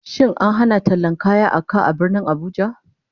Shin an hana tallan kaya a ka a Birnin Abuja?